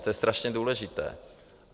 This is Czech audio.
To je strašně důležité.